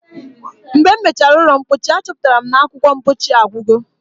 Mgbe m mechara ụlọ mpochi, achọpụtara m na akwụkwọ mpochi agwugo.